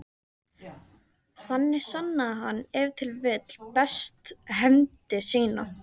Þannig sannaði hann ef til vill best hæfni sína.